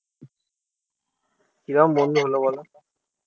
কিরম বন্ধু হল বলো?